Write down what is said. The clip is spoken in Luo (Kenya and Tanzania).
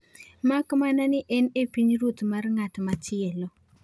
Mak mana ni en e pinyruoth mar ng’at machielo.